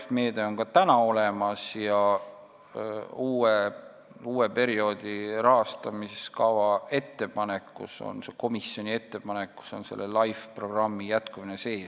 See meede on ka praegu olemas ja komisjoni uue perioodi rahastamiskava ettepanekus on LIFE programmi jätkumine sees.